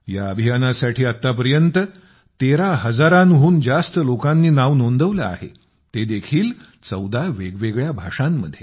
ह्या अभियानासाठी आत्तापर्यंत 13 हजाराहून जास्त लोकांनी नाव नोंदवले आहे ते देखील 14 वेगवेगळ्या भाषांमध्ये